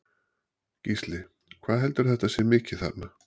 Gísli: Hvað heldurðu að þetta sé mikið þarna?